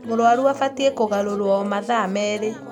Mũrũaru abatiĩ kũgarũrwo o mathaa merĩĩ.